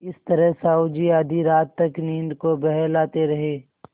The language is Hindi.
इस तरह साहु जी आधी रात तक नींद को बहलाते रहे